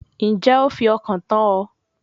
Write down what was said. Ǹjẹ́ o fi ọkàn tán ọ